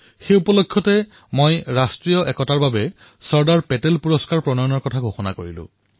সেই সময়তে মই ৰাষ্ট্ৰীয় একতাৰ বাবে চৰ্দাৰ পেটেল পুৰস্কাৰ আৰম্ভ কৰাৰ ঘোষণা কৰিলো